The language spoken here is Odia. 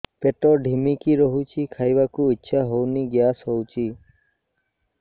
ପେଟ ଢିମିକି ରହୁଛି ଖାଇବାକୁ ଇଛା ହଉନି ଗ୍ୟାସ ହଉଚି